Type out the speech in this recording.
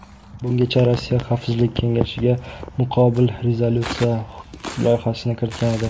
Bungacha Rossiya Xavfsizlik kengashiga muqobil rezolyutsiya loyihasini kiritgan edi.